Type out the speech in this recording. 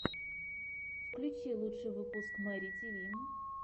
включи лучший выпуск мэри тиви